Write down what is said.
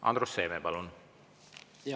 Andrus Seeme, palun!